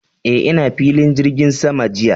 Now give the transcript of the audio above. Eh, ina filin jirgin sama jiya.